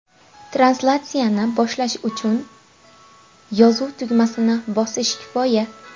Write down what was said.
Translyatsiyani boshlash uchun uchun yozuv tugmasini bosish kifoya.